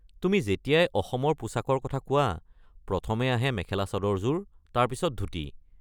তুমি যেতিয়াই অসমৰ পোছাকৰ কথা কোৱা, প্ৰথমে আহে মেখেলা-চাদৰযোৰ, তাৰ পিছত ধূতি।